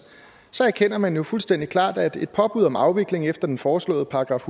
så erkender man jo fuldstændig klart at et påbud om afvikling efter den foreslåede §